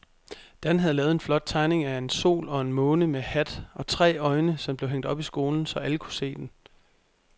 Dan havde lavet en flot tegning af en sol og en måne med hat og tre øjne, som blev hængt op i skolen, så alle kunne se den.